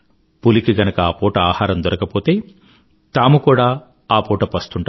పులికి గనుక ఆపూట ఆహారం దొరకకపోతే తాము కూడా ఆ పూట పస్తు ఉంటారు